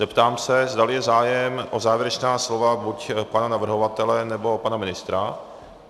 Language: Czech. Zeptám se, zdali je zájem o závěrečná slova buď pana navrhovatele, nebo pana ministra.